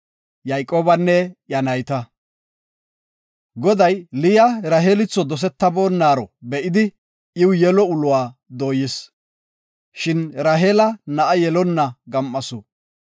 Goday Liya Raheelitho dosetabonaro be7idi, iw yelo uluwa dooyis. Shin Raheela na7a yelonna gam7asu.